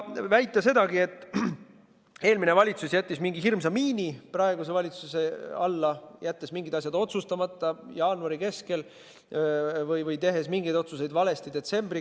Väidetakse sedagi, et eelmine valitsus pani praeguse valitsuse alla mingi hirmsa miin, jättes mingid asjad jaanuari keskel otsustamata või tehes detsembri keskel mingeid otsuseid valesti.